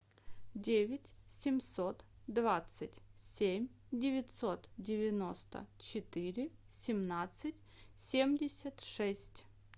девять семьсот двадцать семь девятьсот девяносто четыре семнадцать семьдесят шесть